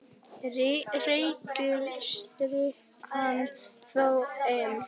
Ríkið styrkir hana þó enn.